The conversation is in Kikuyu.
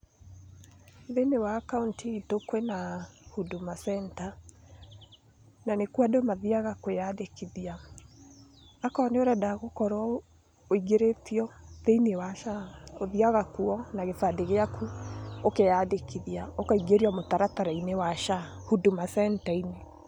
Thĩini wa Kaũntĩ itũ kwĩ na Huduma Centre, na nĩ kuo andũ mathiaga kwĩandĩkithia. Akorũo nĩ ũrenda gũkorũo ũingĩrĩtio thĩinĩ wa SHA, ũthiaga kuo na kĩbandĩ gĩaku ũkeandĩkithia ũkaingĩrio mũtaratara-inĩ wa SHA Huduma Centre-inĩ.